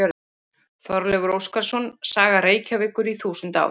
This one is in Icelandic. Þorleifur Óskarsson: Saga Reykjavíkur í þúsund ár.